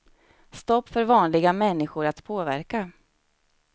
Stopp för vanliga människor att påverka.